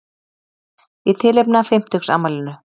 Í tilefni af fimmtugsafmælinu